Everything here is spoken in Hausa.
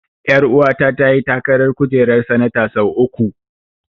Ƴaruwa ta ta yi takarar kujerar sanata sau uku.